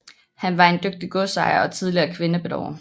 Han var en dygtig godsejer og tillige kvindebedårer